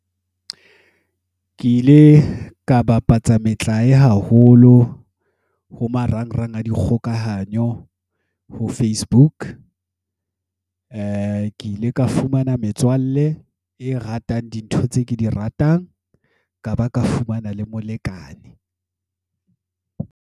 Ke ile ka bapatsa metlae haholo, ho marangrang a dikgokahanyo, ho Facebook. Ke ile ka fumana metswalle, e ratang dintho tse ke di ratang. Ka ba ka fumana le molekane.